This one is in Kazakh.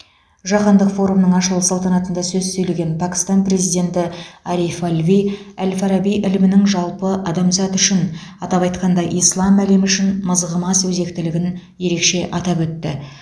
жаһандық форумның ашылу салтанатында сөз сөйлеген пәкістан президенті ариф алви әл фараби ілімінің жалпы адамзат үшін атап айтқанда ислам әлемі үшін мызғымас өзектілігін ерекше атап өтті